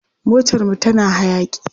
Motarmu tana hayaƙi.